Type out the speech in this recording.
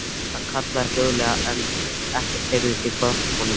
Hann kallaði hljóðlega en ekkert heyrðist í hvolpinum.